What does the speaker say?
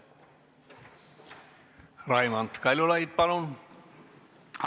Raimond Kaljulaid, palun!